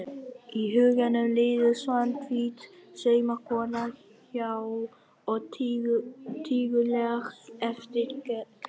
Í huganum líður Svanhvít saumakona há og tíguleg eftir götunni.